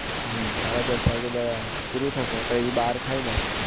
હમ સાડા દસ વાગ્યે બરાબર પૂરું થશે પહી બાર ખાયી લેશું